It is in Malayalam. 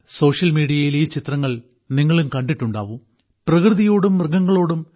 സോഷ്യൽമീഡിയയിൽ ഈ ചിത്രങ്ങൾ നിങ്ങളും കണ്ടിട്ടുണ്ടാവും